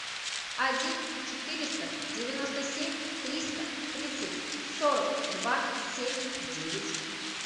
один четыреста девяносто семь триста тридцать сорок два семь девять